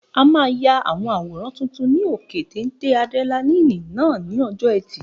A máa ya àwọn àwòrán tuntun ní òkè téńté ádírẹ́láínì náà ní ọjọ́ ẹtì